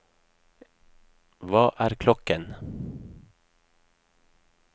hva er klokken